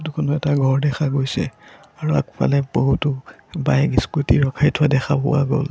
ফটোখনত এটা ঘৰ দেখা গৈছে আৰু আগফালে বহুতো বাইক স্কুটি ৰখাই থোৱা দেখা পোৱা গ'ল।